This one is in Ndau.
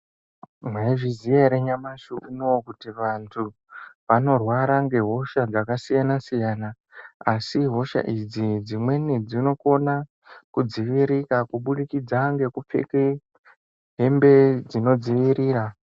Maizviziya yere nyamashi unouyu kuti vantu vanorwara ngehosha dzakasiyana siyana asi hosha idzi dzimweni dzinokona kudzivirika kubudikidza ngekupfeka hembe dzinodzivirira .